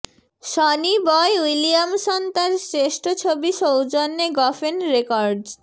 Sony Boy Williamson তার শ্রেষ্ঠ ছবি সৌজন্যে গফেন রেকর্ডস